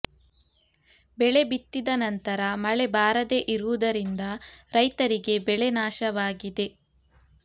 ಬೆಳೆ ಬಿತ್ತಿದ ನಂತರ ಮಳೆ ಬಾರದೆ ಇರುವುದರಿಂದ ರೈತರಿಗೆ ಬೆಳೆ ನಾಶವಾಗಿದೆ